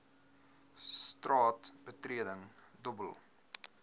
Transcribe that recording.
straat betreding dobbel